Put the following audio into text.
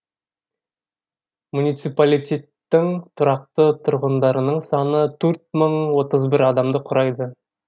муниципалитеттің тұрақты тұрғындарының саны төрт мың отыз бір адамды құрайды